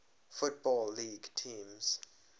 football league teams